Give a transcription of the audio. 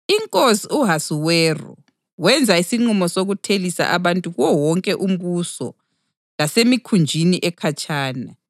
Inkosi u-Ahasuweru wenza isinqumo sokuthelisa abantu kuwo wonke umbuso lasemikhunjini ekhatshana.